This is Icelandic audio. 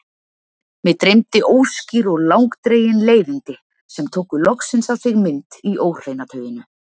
Mig dreymdi óskýr og langdregin leiðindi sem tóku loksins á sig mynd í óhreina tauinu.